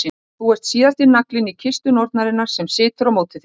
Og þú ert síðasti naglinn í kistu nornarinnar sem situr á móti þér.